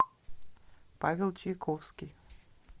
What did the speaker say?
павел чайковский